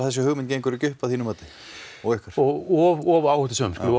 þessi hugmynd gengur ekki upp að þínu mati of of of áhættusöm við